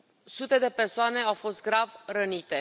Sute de persoane au fost grav rănite.